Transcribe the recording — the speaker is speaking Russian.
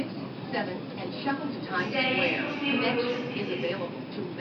у тебя есть трусливый велосипедист